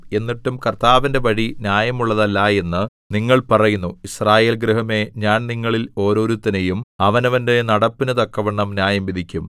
എന്നിട്ടും കർത്താവിന്റെ വഴി ന്യായമുള്ളതല്ല എന്ന് നിങ്ങൾ പറയുന്നു യിസ്രായേൽ ഗൃഹമേ ഞാൻ നിങ്ങളിൽ ഓരോരുത്തനെയും അവനവന്റെ നടപ്പിനു തക്കവണ്ണം ന്യായംവിധിക്കും